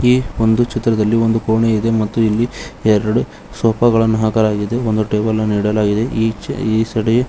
ಈ ಒಂದು ಚಿತ್ರದಲ್ಲಿ ಒಂದು ಕೋಣೆ ಇದೆ ಮತ್ತು ಇಲ್ಲಿ ಎರಡು ಸೋಪ ಗಳನ್ನು ಹಾಕಲಾಗಿದ್ದು ಒಂದು ಟೇಬಲ್ ಅನ್ನು ನೀಡಲಾಗಿದೆ ಎ ಸಡಿ.